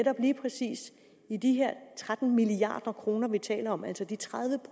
lige præcis med de her tretten milliard kr vi taler om altså de tredive